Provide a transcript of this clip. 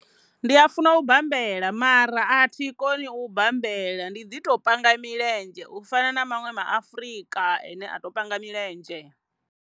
Ndi a funa u bambela mara a thi koni u bambela ndi ḓi to panga milenzhe u fana na maṅwe ma Afurika ane a to panga milenzhe.